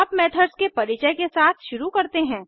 अब मेथड्स के परिचय के साथ शुरू करते हैं